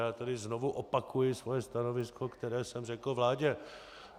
Já tady znovu opakuji své stanovisko, které jsem řekl vládě.